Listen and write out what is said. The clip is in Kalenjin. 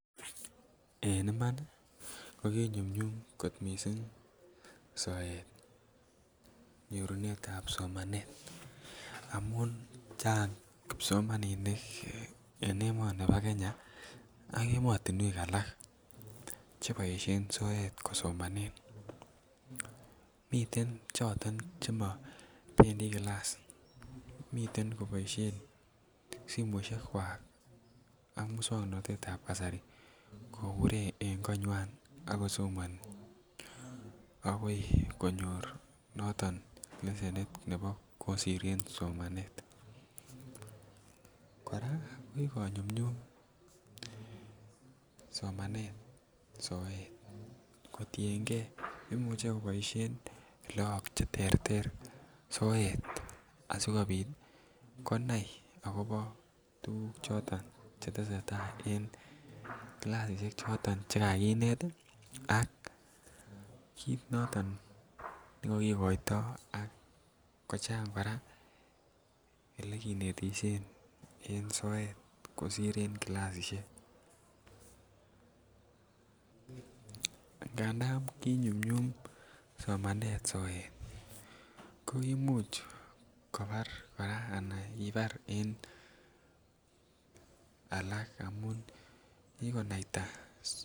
En iman ko kinyumnyum missing soet soet nyorunetab somanet amun Chang kipsomaninik en emoni bo Kenya ak emotinwek alak che boishen soet kosomanen. Miten choton chemo bendii kilass miten koboishen simoishekkwak ak muswognotetab kasari kobure en konywan ako somoni agoi konyor noton kesenit nebo kosir en somanet. Koraa ko kinyumnyum somanet soet kotiengee imuche koboishen look che terter soet asikopit konai akobo tuguk choton che tesetai en kilasishek choton che kakinet ii ak kit noton ne kokigoito ak kochang koraa ole kinetkisien en soet kosir en kilasishek. Ngandan kinyumnyum somanet soet kokimuch kobar koraa ana kibar en alak amun kikonaita